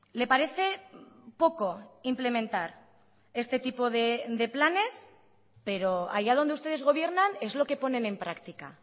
le parece poco implementar este tipo de planes pero allá donde ustedes gobiernan es lo que ponen en practica